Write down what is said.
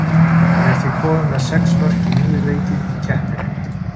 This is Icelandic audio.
Hann er því kominn með sex mörk í níu leikjum í keppninni.